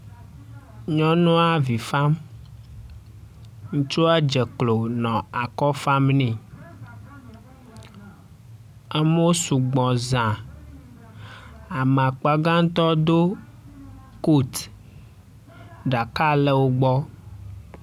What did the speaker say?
Nyɔnua avi fam. Ŋutsua dze klo nɔ akɔ fam ne. Amewo sugbɔ zã. Ame akpagatɔ do kot, ɖaka le wo gbɔ.